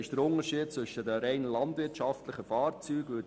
Das ist der Vergleich mit den rein landwirtschaftlichen Fahrzeugen.